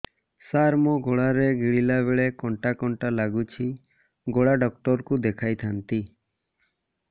ସାର ମୋ ଗଳା ରେ ଗିଳିଲା ବେଲେ କଣ୍ଟା କଣ୍ଟା ଲାଗୁଛି ଗଳା ଡକ୍ଟର କୁ ଦେଖାଇ ଥାନ୍ତି